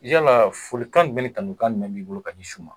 Yala folikan jumɛn ni tanukan jumɛn b'i bolo ka di su ma.